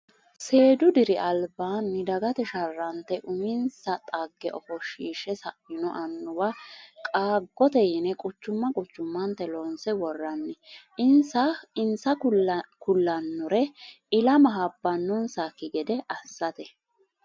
Seedu diri albaani dagate sharrante uminsa dhagge ofoshishe saino annuwa qaagote yine quchuma quchumate loonse woranni insa ku'lanore ilama habbanonsakki gede assate.